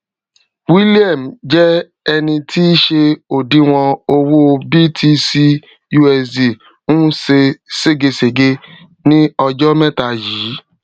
william jẹ ẹni tí ṣe odiwòn owó btcusd ń se ségesège ní ọjọ mẹta yìí